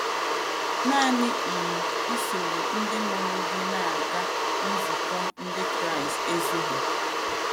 Nanị um isoro ndị mụrụ gị na - aga nzukọ Ndị Kraịst ezughị.